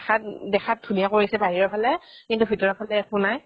দেখাত উম দেখাত ধুনীয়া কৰিছে বাহিৰৰ ফালে কিন্তু ভিতৰৰ ফালে একো নাই